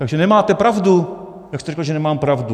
Takže nemáte pravdu, jak jste řekl, že nemám pravdu.